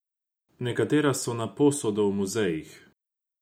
Nekatera so na posodo v muzejih.